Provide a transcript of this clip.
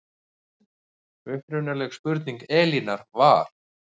Upprunaleg spurning Elínar var